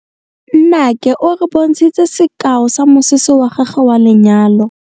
Nnake o re bontshitse sekaô sa mosese wa gagwe wa lenyalo.